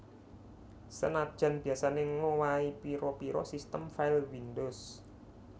Senajan biyasané ngowahi pira pira sistem file windows